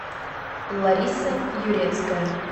лариса юрецкая